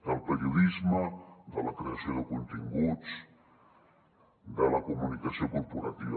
del periodisme de la creació de continguts de la comunicació corporativa